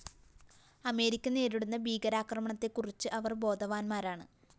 America നേരിടുന്ന ഭീകരാക്രമണത്തെക്കുറിച്ച് അവര്‍ ബോധവാന്മാരാണ്